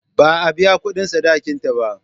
Ba a biya kudin sadakin ta ba.